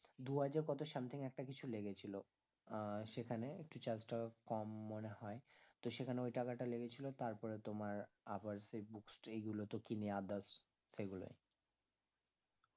দুহাজার কত something একটা কিছু লেগেছিলো আহ সেখানে একটু charge টাও কম মনে হয় তো সেখানে ওই টাকাটা লেগেছিলো তারপরে তোমার আবার সেই book stray গুলো তো কিনে others সেগুলোই